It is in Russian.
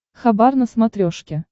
хабар на смотрешке